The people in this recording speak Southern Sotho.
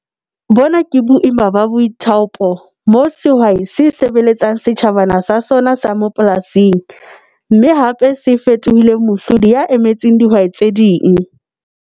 Bona ke boima ba BOITHAOPO moo sehwai se SEBELETSANG setjhabana sa sona sa mapolasing, mme hape se fetohileng MOHLODI ya emetseng dihwai tse ding.